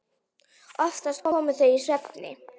Oftast komu þau í svefni.